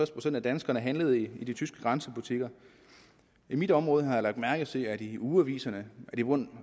procent af danskerne handlet i de tyske grænsebutikker i mit område har jeg lagt mærke til at de i ugeaviserne